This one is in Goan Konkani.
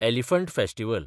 elephant festival